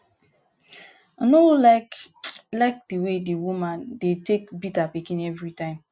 i no like like the um way dat woman dey beat her pikin every time